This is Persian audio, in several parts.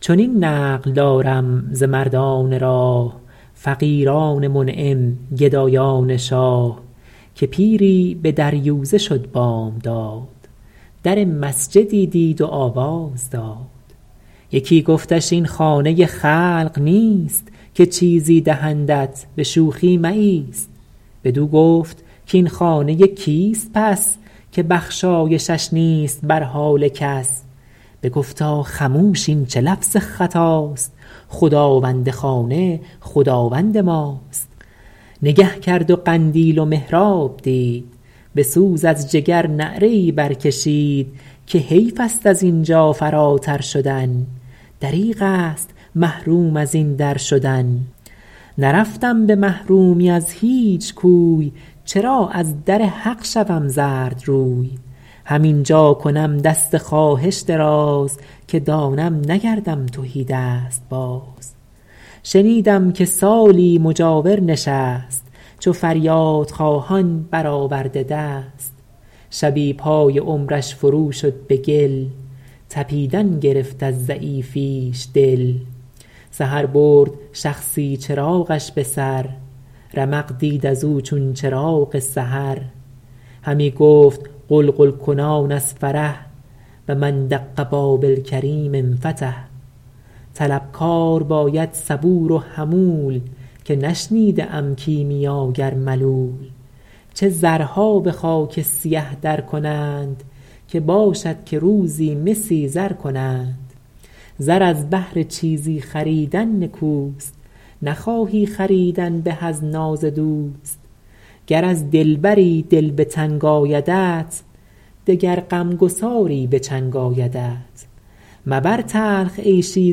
چنین نقل دارم ز مردان راه فقیران منعم گدایان شاه که پیری به دریوزه شد بامداد در مسجدی دید و آواز داد یکی گفتش این خانه خلق نیست که چیزی دهندت به شوخی مایست بدو گفت کاین خانه کیست پس که بخشایشش نیست بر حال کس بگفتا خموش این چه لفظ خطاست خداوند خانه خداوند ماست نگه کرد و قندیل و محراب دید به سوز از جگر نعره ای بر کشید که حیف است از اینجا فراتر شدن دریغ است محروم از این در شدن نرفتم به محرومی از هیچ کوی چرا از در حق شوم زردروی هم اینجا کنم دست خواهش دراز که دانم نگردم تهیدست باز شنیدم که سالی مجاور نشست چو فریاد خواهان برآورده دست شبی پای عمرش فرو شد به گل تپیدن گرفت از ضعیفیش دل سحر برد شخصی چراغش به سر رمق دید از او چون چراغ سحر همی گفت غلغل کنان از فرح و من دق باب الکریم انفتح طلبکار باید صبور و حمول که نشنیده ام کیمیاگر ملول چه زرها به خاک سیه در کنند که باشد که روزی مسی زر کنند زر از بهر چیزی خریدن نکوست نخواهی خریدن به از یاد دوست گر از دلبری دل به تنگ آیدت دگر غمگساری به چنگ آیدت مبر تلخ عیشی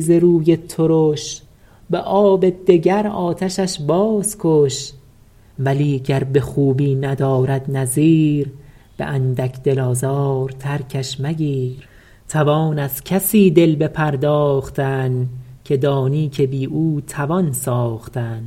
ز روی ترش به آب دگر آتشش باز کش ولی گر به خوبی ندارد نظیر به اندک دل آزار ترکش مگیر توان از کسی دل بپرداختن که دانی که بی او توان ساختن